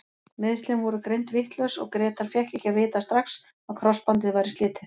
Meiðslin voru greind vitlaus og Grétar fékk ekki að vita strax að krossbandið væri slitið.